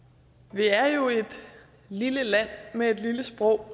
vi er jo et lille land med et lille sprog